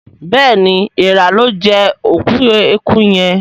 béèni Èèrà lọ jé òkú ẹkú yén.